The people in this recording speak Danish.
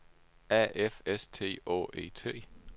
A F S T Å E T